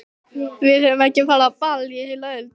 Við höfum ekki farið á ball í heila öld!